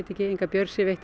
ekki neina björg sér veitt